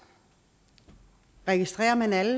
registrerer man alle